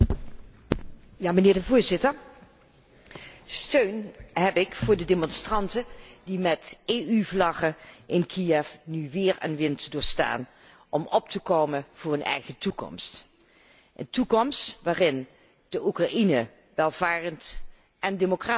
Meneer de Voorzitter, steun heb ik voor de demonstranten die met EU vlaggen in Kiev nu weer en wind doorstaan om op te komen voor een eigen toekomst, een toekomst waarin Oekraïne welvarend en democratisch kan worden.